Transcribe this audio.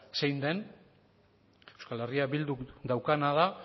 zein den euskal herria bilduk daukana da